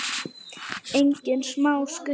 Engin smá skutla!